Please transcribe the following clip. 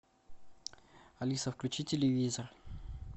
алиса включи телевизор